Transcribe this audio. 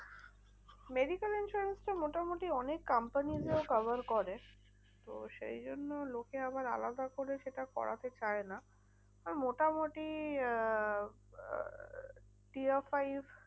Medical insurance টা মোটামুটি অনেক company র ও cover করে। তো সেই জন্য লোকে আবার আলাদা করে সেটা করাতে চায় না। আর মোটামুটি আহ